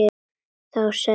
Þá sagði Jón til sín.